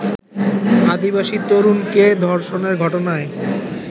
আদিবাসী তরুণীকে ধর্ষণের ঘটনায়